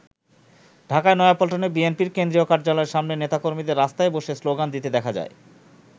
ঢাকার নয়াপল্টনে বিএনপির কেন্দ্রীয় কার্যালয়ের সামনে নেতাকর্মীদের রাস্তায় বসে শ্লোগান দিতে দেখা যায়।